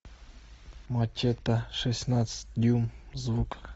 мачете шестнадцать дюйм звук